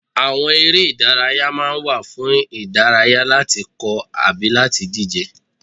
Àwọn eré ìdárayá ma ń wà fún ìdárayá, láti kọ́ ọ tàbí láti díje.